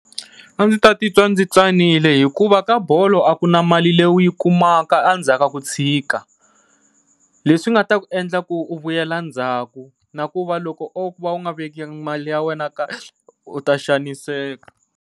A ndzi ta titwa ndzi tsanile hikuva ka bolo a ku na mali leyi u yi kumaka endzhaku ka ku tshika, leswi nga ta ku endla ku u vuyela ndzhaku na ku va loko o va u nga vekanga mali ya wena kahle u ta xaniseka.